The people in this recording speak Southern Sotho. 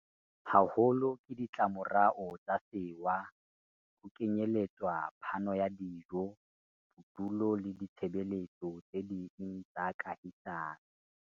haholo ke ditlamorao tsa sewa, ho kenyeletswa phano ya dijo, bodulo le ditshebe letso tse ding tsa kahisano.